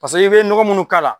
Paseke i bɛ nɔgɔ munnu k'a la.